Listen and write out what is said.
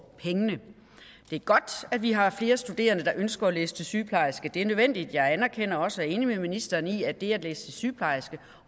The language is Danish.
pengene det er godt at vi har flere studerende der ønsker at læse til sygeplejerske det er nødvendigt jeg anerkender også og er enig med ministeren i at det at læse til sygeplejerske